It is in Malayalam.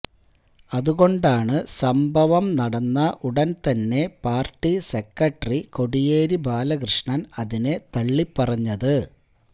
അതുകൊണ്ടാണ് സംഭവം നടന്ന ഉടന് തന്നെ പാര്ട്ടി സെക്രട്ടറി കോടിയേരി ബാലകൃഷ്ണന് അതിനെ തള്ളിപ്പറഞ്ഞത്